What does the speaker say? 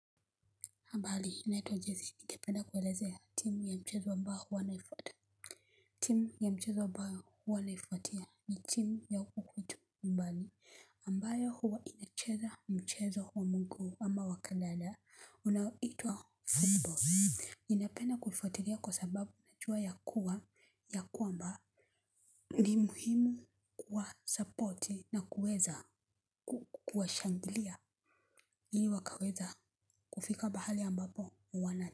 Mbali naitwa jezi ningependa kuelezea timu ya mchezo ambao huwa naifuatia. Timu ya mchezo ambao huwa naifuatia ni timu ya uhutu mbali ambayo huwa inacheza mchezo wa muguu ama wakadada unaoitwa football ninapenda kuifuatilia kwa sababu najua ya kuwa ya kwamba ni muhimu kuwa support na kuweza kuwa shangilia ili wakaweza kufika bahali ambapo wanati.